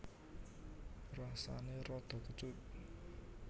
Rasané rada kecut